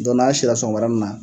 Dɔnɲu n'a sira, sɔgɔmadanin na